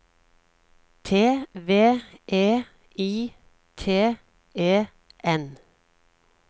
T V E I T E N